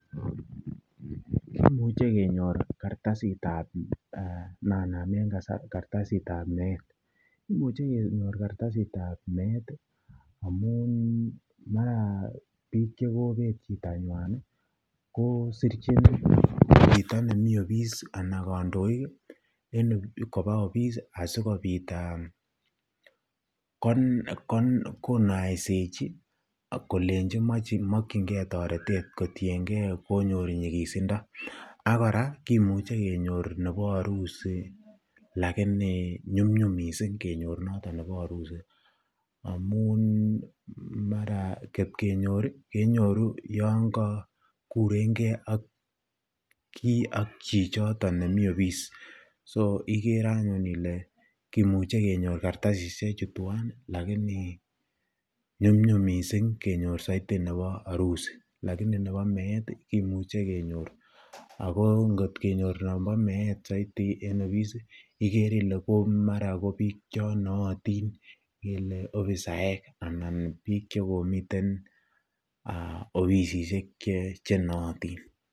Kimuche kenyor kartasitab nen anamen kartasitab meet, imuche kenyor kartasitab meet amun mara biik chekobet chitanywan ko sirchin chito nemii obis anan kondoik en kobaa obis asikobit konaisechi kolenchi mokyinge toretet kotienge konyor nyikisindo ak kora kimuche kenyor nebo harusi lakini nyumnyum mising kenyor noton nebo harusi amun mara kot kenyor kenyoru yoon ko kureng'e kii ak chichoton nemii obis, s ikere anyun ilee kimuche kenyor kartasishe chuu twaan lakini nyumnyum mising nebo harusi lakini nebo meet kimuche kenyor ak ko kot kenyor nombo meet soiti en obis ikere ilee mara ko biik chonootin kele obisaek anan biik chekomiten obisishek chenootin.